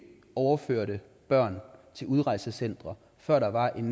overførte børn til udrejsecentre før der var en